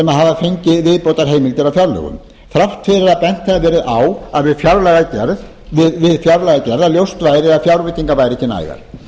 fengið viðbótarheimildir á fjárlögum þrátt fyrir að bent hafi verið á við fjárlagagerð að ljóst væri að fjárveitingar væru ekki nægar